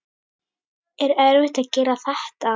Er erfitt að gera þetta?